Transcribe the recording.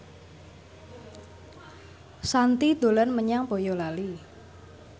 Shanti dolan menyang Boyolali